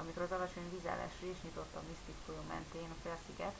amikor az alacsony vízállás rést nyitott a mystic folyó mentén a félsziget